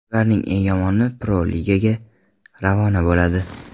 Ularning eng yomoni Pro-Ligaga ravona bo‘ladi.